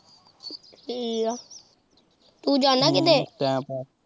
ਠੀਕ ਆ ਤੂੰ ਜਾਨਾ ਕਿਤੇ।